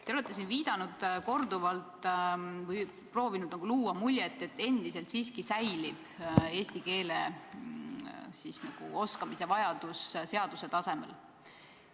Te olete siin korduvalt viidanud või proovinud luua muljet, et eesti keele oskamise vajadus seaduse tasemel endiselt siiski säilib.